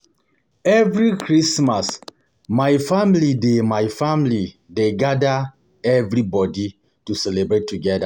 Every Christmas, my family dey my family dey gada everybodi to celebrate together.